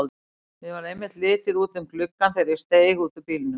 Mér varð einmitt litið út um gluggann þegar hún steig út úr bílnum.